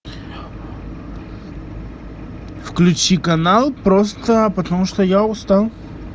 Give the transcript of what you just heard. включи канал просто потому что я устал